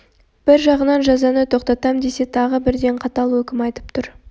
бір жағынан жазаны тоқтатам десе тағы бірден қатал өкім айтып тұр